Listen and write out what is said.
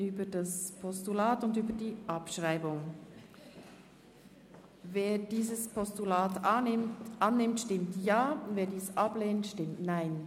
Wer das Postulat annimmt, stimmt Ja, wer dieses ablehnt, stimmt Nein.